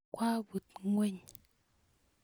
kwabut ngweny